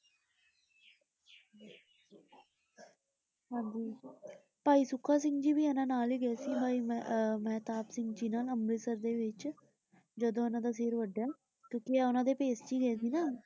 ਹਾਂਜੀ। ਭਾਈ ਸੁੱਖਾ ਸਿੰਘ ਜੀ ਇੰਨਾ ਨਾਲ ਹੀ ਗਏ ਸੀ ਅਹ ਮਹਿਤਾਬ ਸਿੰਘ ਜੀ ਨਾਲ ਅੰਮ੍ਰਿਤਸਰ ਦੇ ਵਿਚ ਜਦੋ ਉਨ੍ਹਾਂ ਦਾ ਸਿਰ ਵੱਢਿਆ ਕਿਉਕਿ ਆਹ ਉਨਾ ਦੇ ਭੇਸ ਚ ਹੀ ਗਏ ਸੀ ਨਾ ।